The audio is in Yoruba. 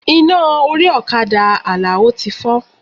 Iná orí ọ̀kadà Alao ti fọ́.